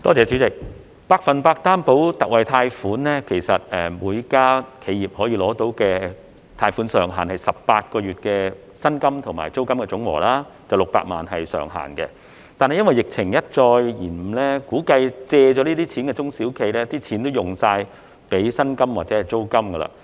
主席，就百分百擔保特惠貸款而言，其實每家企業可以申請到的貸款上限是18個月的薪金和租金總和，不超過600萬元，但由於疫情一再拖延，估計借了這些錢的中小企已將貸款全用作薪金或租金。